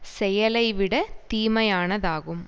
செயலைவிடத் தீமையானதாகும்